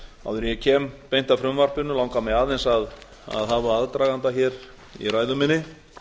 en ég kem beint að frumvarpinu langar mig aðeins að hafa aðdraganda hér í